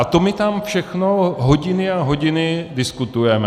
A to my tam všechno hodiny a hodiny diskutujeme.